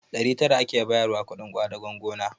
Ɗari tara ake bayarwa kuɗin ƙwadagon gona